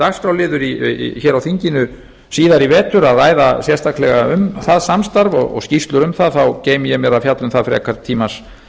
dagskrárliður á þinginu síðar í vetur að ræða sérstaklega um það samstarf og skýrslur um það þá geymi ég mér að fjalla um það frekar tímans